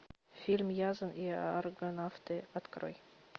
фильм ясон и аргонавты открой